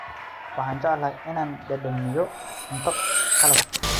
Waxaan jecelnahay inaan dhadhaminno cunto qalaad.